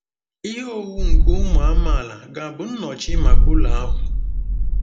Ihe owuwu nke ụmụ amaala ga-abụ nnọchi maka ụlọ ahụ?